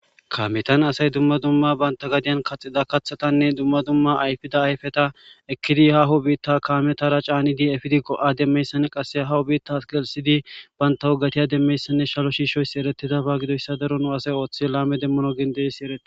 Kameta asay dumma dumma banta gadiyan kaxida kathatane dumma dumma ayfida ayfeta ekidi haho bita kametara canidi efidi go'a demiyaysane qase haho bitas gelisidi banta woga demiyaysane saro shishoysi eretidaba gidiyasa daro nu asay go'a deman ogen de'iyaysi eretes